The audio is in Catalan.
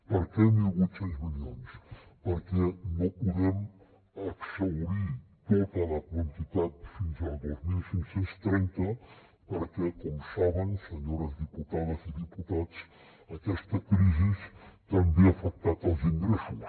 per què mil vuit cents milions perquè no podem exhaurir tota la quantitat fins als dos mil cinc cents i trenta perquè com saben senyores diputades i diputats aquesta crisi també ha afectat els ingressos